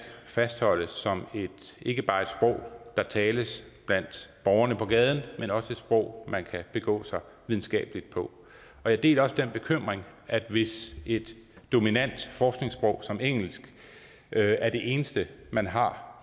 fastholdes som ikke bare et sprog der tales blandt borgerne på gaden men også som et sprog man kan begå sig videnskabeligt på og jeg deler også den bekymring at hvis et dominant forskningssprog som engelsk er det eneste man har